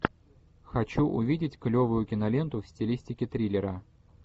хочу увидеть клевую киноленту в стилистике триллера